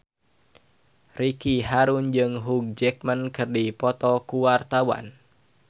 Ricky Harun jeung Hugh Jackman keur dipoto ku wartawan